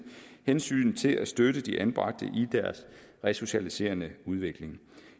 hensynet til at støtte de anbragte i deres resocialiserende udvikling